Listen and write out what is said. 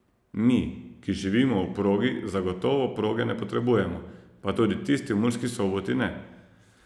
Mi, ki živimo ob progi za gotovo proge ne potrebujemo, pa tudi tisti v Murski soboti ne.